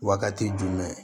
Wagati jumɛn